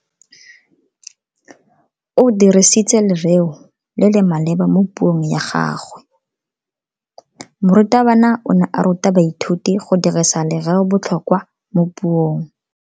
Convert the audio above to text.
O dirisitse lereo le le maleba mo puong ya gagwe. Morutabana o ne a ruta baithuti go dirisa lereobotlhokwa mo puong.